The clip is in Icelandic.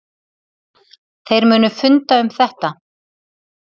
Þeir munu funda um þetta.